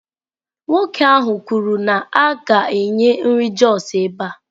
Nwoke ahụ kwuru na a ga-enye nri Jos ebe a.